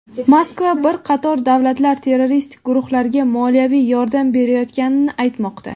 Moskva bir qator davlatlar terroristik guruhlarga moliyaviy yordam berayotganini aytmoqda.